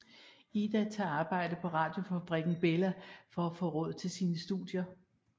Ida tager arbejde på radiofabrikken Bella for at få råd til sine studier